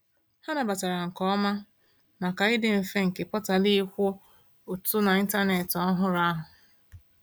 Ha nabatara nke oma, maka ịdị mfe nke portal ịkwụ ụtụ n’ịntanetị ọhụrụ ahụ.